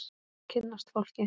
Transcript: Kynnast fólki.